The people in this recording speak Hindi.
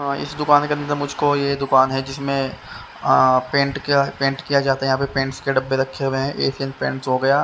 अअ इस दुकान के अंदर मुझको ये दुकान है जिसमें अअ पेंट किया पेंट किया जाता है यहां पे पेंट्स के डब्बे रखे हुए हैं एशियन पेंट हो गया--